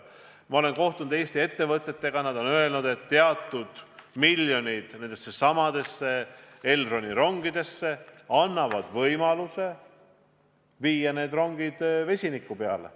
Ma olen kohtunud Eesti ettevõtjatega ning nad on öelnud, et teatud miljonite suunamine Elroni rongidesse annab võimaluse viia need rongid vesiniku peale.